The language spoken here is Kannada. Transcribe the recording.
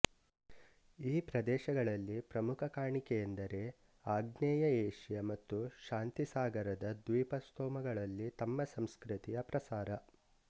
ಈ ಪ್ರದೇಶಗಳಲ್ಲಿ ಪ್ರಮುಖ ಕಾಣಿಕೆಯೆಂದರೆ ಆಗ್ನೇಯ ಏಷ್ಯ ಮತ್ತು ಶಾಂತಿಸಾಗರದ ದ್ವೀಪಸ್ತೋಮಗಳಲ್ಲಿ ತಮ್ಮ ಸಂಸ್ಕೃತಿಯ ಪ್ರಸಾರ